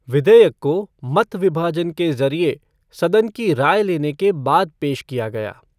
विधेयक को मत विभाजन के जरियो सदन की राय लेने के बाद पेश किया गया।